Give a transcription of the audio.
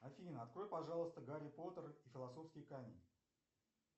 афина открой пожалуйста гарри поттер и философский камень